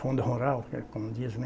Fundo Rural, que é como diz, né?